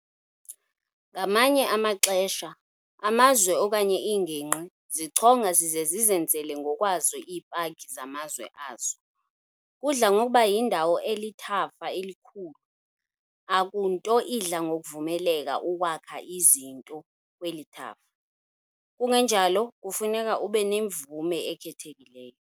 Ngamanye amaxesha, amazwe okanye iingingqi zichonga zize zizenzele ngokwazo ii-paki zamazwe azo. kudla ngokuba yindawo elithafa elikhulu. Akunto idla ngokuvumeleka ukwakha izinto kweli thafa, kungenjalo kufuneka ube nemvume ekhethekileyo.